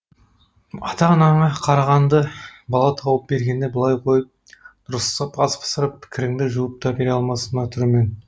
ата анаңа қарағанды бала тауып бергенді былай қойып дұрыстап ас пісіріп кіріңді жуып та бере алмас мына түрімен